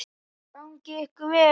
Gangi ykkur vel.